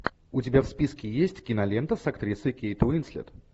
у тебя в списке есть кинолента с актрисой кейт уинслет